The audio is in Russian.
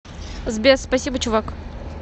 сбер спасибо чувак